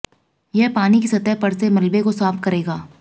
यह पानी की सतह पर से मलबे को साफ करेगा